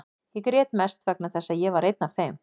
Ég grét mest vegna þess að ég var einn af þeim.